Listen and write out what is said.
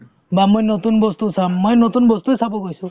বা মই নতুন বস্তু চাম মই নতুন বস্তুয়ে চাব গৈছো